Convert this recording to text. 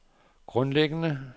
grundlæggende